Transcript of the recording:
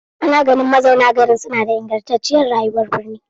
Ana ganin mazauna garin suna da ingantacciyar rayuwar birni.